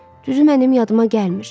Düzü mənim yadıma gəlmir.